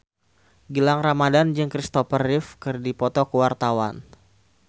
Gilang Ramadan jeung Christopher Reeve keur dipoto ku wartawan